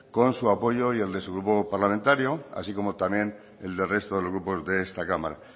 con su apoyo y el de su grupo parlamentario así como también el del resto de los grupos de esta cámara